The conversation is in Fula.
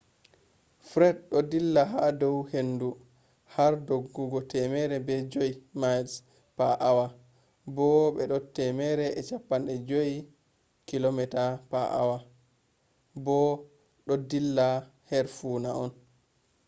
fred do dilla ha dou hendu har doggugo 105 miles per hour bo be 165 km/h bo do dilla her funa on